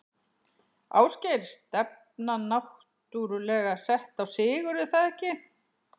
Ásgeir: Stefnan náttúrulega sett á sigur, er það ekki?